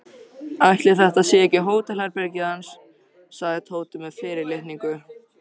Ætli þetta sé ekki hótelherbergið hans sagði Tóti með fyrirlitningu.